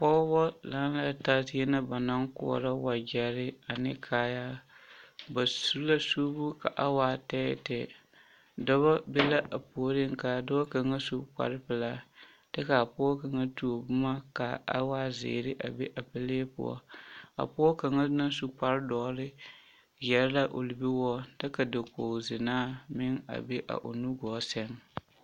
Pɔgebɔ laŋɛɛ taa zie na ba naŋ koɔrɔ wegyɛre ane kaayaa ba su la suubu ka a waa tɛɛtɛɛ, dɔbɔ be la a puoriŋ k'a dɔɔ kaŋa su kpare pelaa kyɛ k'a pɔge kaŋa tuo boma k'a waa zeere a be a pelee poɔ a pɔge kaŋa naŋ su kpare doɔre yɛre la o libiwoɔ kyɛ ka dakogi zenaa meŋ a be a o nugɔɔ sɛŋ.